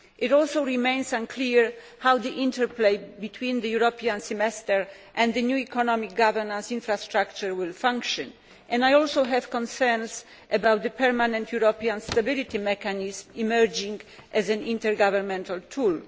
It also remains unclear how the interplay between the European Semester and the new economic governance infrastructure will function, and I also have concerns about the permanent European Stability Mechanism emerging as an intergovernmental tool.